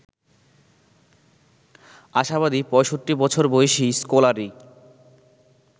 আশাবাদী ৬৫ বছর বয়সী স্কলারি